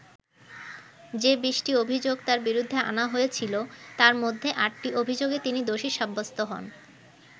যে বিশটি অভিযোগ তাঁর বিরুদ্ধে আনা হয়েছিল, তার মধ্যে আটটি অভিযোগে তিনি দোষী সাব্যস্ত হন।